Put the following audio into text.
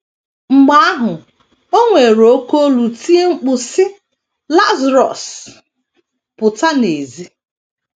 Mgbe ahụ, o weere oké olu tie mkpu, sị: “ Lazarọs, pụta n’èzí. ”